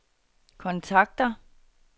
kontakter